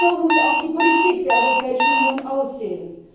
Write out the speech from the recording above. Und so muss auch die Politik der Europäischen Union aussehen!